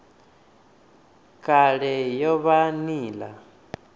kale i o vha nila